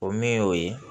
O min y'o ye